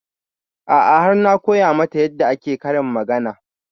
A'a har na koya mata yarda ake karin magana